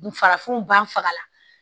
Farafinw b'an faga